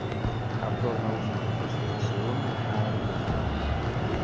обзор наушников от ксяоми аирдотс